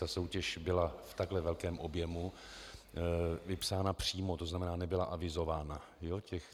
Ta soutěž byla v takhle velkém objemu vypsána přímo, to znamená, nebyla avizována.